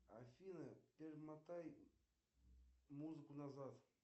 афина перемотай музыку назад